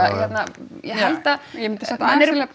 ég held að ég vil samt aðeins